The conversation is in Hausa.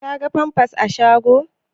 Ka ga famfas a shagon?